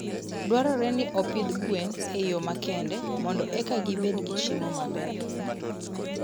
Dwarore ni opidh gwen e yo makende mondo eka gibed gi chiemo maber.